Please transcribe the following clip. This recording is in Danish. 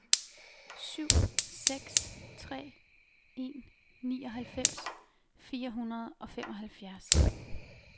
syv seks tre en nioghalvfems fire hundrede og femoghalvfjerds